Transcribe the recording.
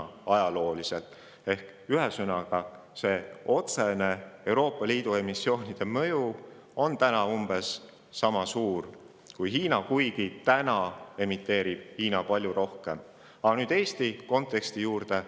Ehk ühesõnaga, see Euroopa Liidu riikide otsene mõju on täna umbes sama suur kui Hiina, kuigi täna emiteerib Hiina palju rohkem.